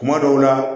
Kuma dɔw la